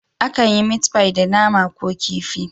Akan yi meat pie da nama ko da kifi.